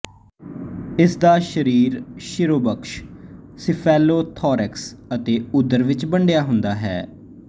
ਇਸਦਾ ਸਰੀਰ ਸ਼ਿਰੋਵਕਸ਼ ਸਿਫੇਲੋਥੋਰੇਕਸ ਅਤੇ ਉਦਰ ਵਿੱਚ ਵੰਡਿਆ ਹੁੰਦਾ ਹੈ